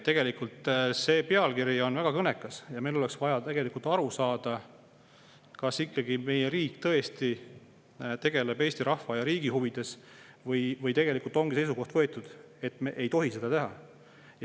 Tegelikult see pealkiri on väga kõnekas ja meil oleks vaja aru saada, kas meie riik tegeleb Eesti rahva ja riigi huvides või tegelikult ongi võetud seisukoht, et me ei tohi seda teha.